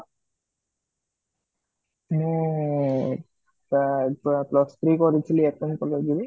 ମୁଁ plus three କରିଥିଲି FM college ରେ